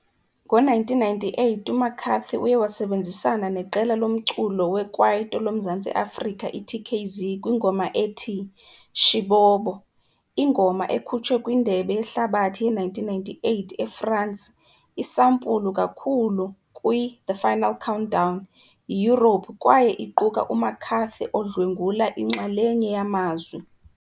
Ngo-1998, uMcCarthy uye wasebenzisana neqela lomculo wekwaito loMzantsi Afrika iTKZee kwingoma ethi " Shibobo ". Ingoma ekhutshwe kwiNdebe yeHlabathi ye-1998 eFransi iisampulu kakhulu kwi-" The Final Countdown " yiYurophu kwaye iquka uMcCarthy odlwengula inxalenye yamazwi.